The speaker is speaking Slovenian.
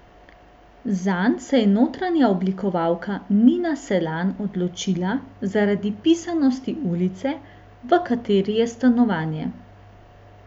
Zanj se je notranja oblikovalka Nina Selan odločila zaradi pisanosti ulice, v kateri je stanovanje.